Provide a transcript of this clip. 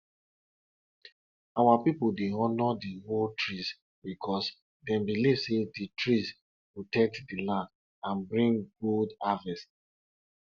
pikin dem dey help arrange pepper make e for easy e for easy to carry go where dem go dry am